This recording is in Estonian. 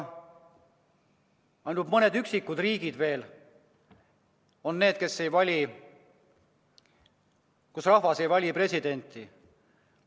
Ainult mõned üksikud riigid veel on sellised, kus rahvas ei vali presidenti.